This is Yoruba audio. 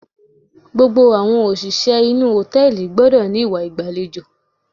Gbogbo àwọn òṣìṣẹ́ inú hòtẹ́ẹ̀lì gbọ́dọ̀ ní ìwà ìgbàlejò.